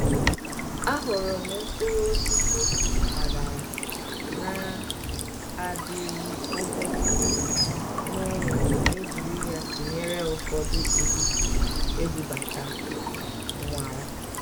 àhụ́rụ́ m mkpụ́rụ́ ósìsì mpàgàrà nà-àdì́rù ógólògó n'ụ́lọ̀ mà é jìrí yá tụ́nyeré ụ́fọ̀dụ́ ụ́dị́ ébúbátá m nwàrà.